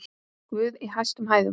Guð í hæstum hæðum!